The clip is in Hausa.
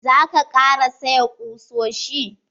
Za ka ƙara saya kusoshi?